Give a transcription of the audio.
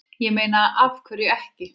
Ég meina, af hverju ekki?